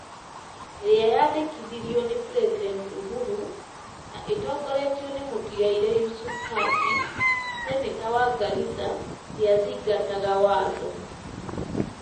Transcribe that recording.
ĩrĩa yaandĩkithirio nĩ President Uhuru, na ĩtongoretio nĩ mũtigairĩ Yusuf Haji, seneta wa Garissa, ndĩathingataga watho.